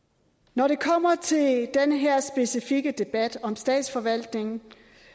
når det kommer til den her specifikke debat om statsforvaltningen